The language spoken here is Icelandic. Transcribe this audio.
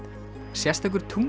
sérstakur